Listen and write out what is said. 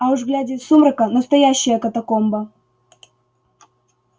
а уж глядя из сумрака настоящая катакомба